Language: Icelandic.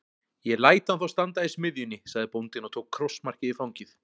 Ég læt hann þá standa í smiðjunni, sagði bóndinn og tók krossmarkið í fangið.